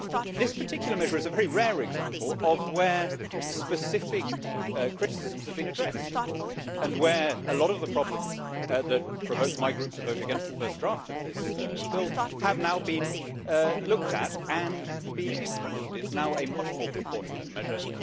This particular measure is a very rare example of where specific criticisms have been addressed and where a lot of the problems that provoked my group to vote against the first draft of this bill have now been looked at and improved. It is now a much more proportionate measure.